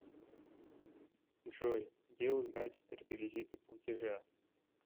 джой где узнать реквизиты платежа